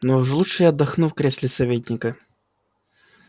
но уж лучше я отдохну в кресле советника